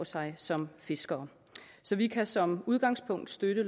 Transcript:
sig som fiskere så vi kan som udgangspunkt støtte